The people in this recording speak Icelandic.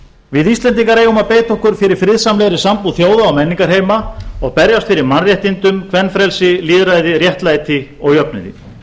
við íslendingar eigum að beita okkur fyrir friðsamlegri sambúð þjóða og menningarheima og berjast fyrir mannréttindum kvenfrelsi lýðræði réttlæti og jöfnuði